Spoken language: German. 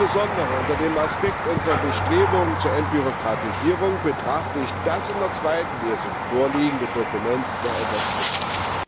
Aber insbesondere unter dem Aspekt unserer Bestrebungen zur Entbürokratisierung betrachte ich das in der zweiten Lesung vorliegende Dokument doch etwas kritisch.